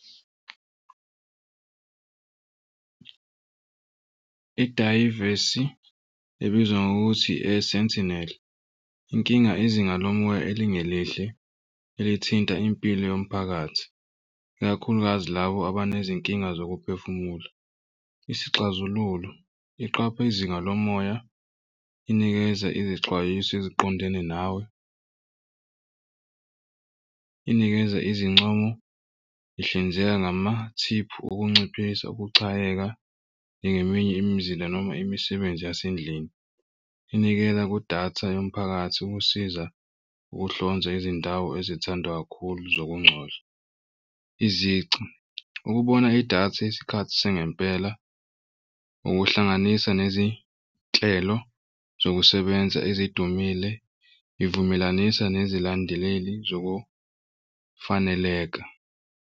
Idayivesi ebizwa ngokuthi inkinga izinga lomoya elingelihle elithinta impilo yomphakathi, ikakhulukazi labo abanezinkinga zokuphefumula. Isixazululo iqaphe izinga lomoya inikeza izexwayiso eziqondene nawe, inikeza izincomo, ihlinzeka ngamathiphu okunciphisa ukuxakeka. Njengeminye imizila noma imisebenzi yasendlini inikela kudatha yomphakathi ukusiza ukuhlonza izindawo ezithandwa kakhulu zokungcoza. Izici ukubona idatha isikhathi sangempela, ukuhlanganisa nezinhlelo zokusebenza ezidumile. Ivumelanisa nezilandeleli zokufaneleka.